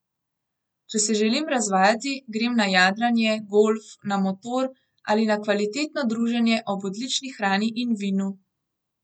Če se želim razvajati, grem na jadranje, golf, na motor ali na kvalitetno druženje ob odlični hrani in vinu.